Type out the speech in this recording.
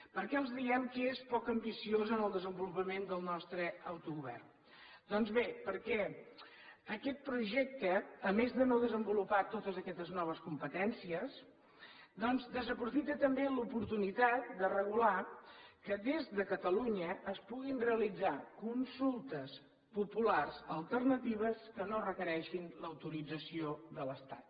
per què els diem que és poc ambiciosa en el desenvolupament del nostre autogovern doncs bé perquè aquest projecte a més de no desenvolupar totes aquestes noves competències doncs desaprofita també l’oportunitat de regular que des de catalunya es puguin realitzar consultes populars alternatives que no requereixin l’autorització de l’estat